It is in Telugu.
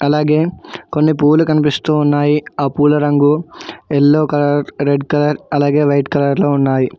అలాగే కొన్ని పూలు కనిపిస్తూ ఉన్నాయి ఆ పూల రంగు యెల్లో కలర్ రెడ్ కలర్ అలాగే వైట్ కలర్ లో ఉన్నాయి.